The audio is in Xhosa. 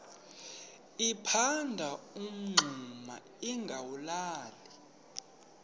liphanda umngxuma lingawulali